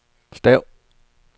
stav